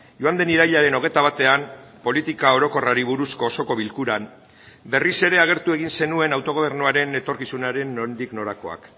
joan den irailaren hogeita batean politika orokorrari buruzko osoko bilkuran berriz ere agertu egin zenuen autogobernuaren etorkizunaren nondik norakoak